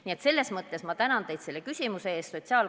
Nii et selles mõttes ma tänan teid selle küsimuse eest!